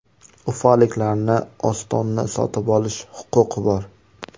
Ufaliklarni Ostonni sotib olish huquqi bor.